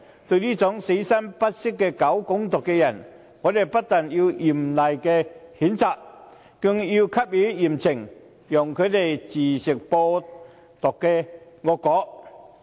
對於這種死心不息搞"港獨"的人，我們不但要嚴厲譴責，更應給予嚴懲，讓他自吃"播獨"惡果。